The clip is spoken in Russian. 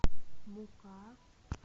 мука